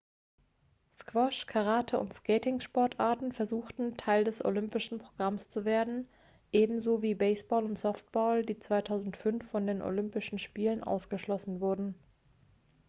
squash karate und skating-sportarten versuchten teil des olympischen programms zu werden ebenso wie baseball und softball die 2005 von den olympischen spielen ausgeschlossen wurden